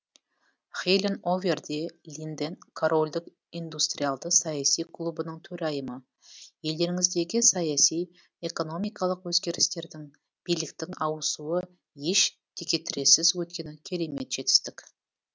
хелин овер де линден корольдік индустриалды саяси клубының төрайымы елдеріңіздегі саяси экономикалық өзгерістердің биліктің ауысуы еш текетірессіз өткені керемет жетістік